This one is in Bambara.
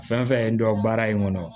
Fɛn fɛn ye n dɔn baara in kɔnɔ